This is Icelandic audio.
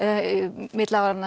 milli